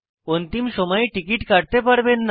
অন্তিম সময়ে টিকিট কাটতে পারবেন না